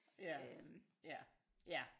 Ja ja ja